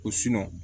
Ko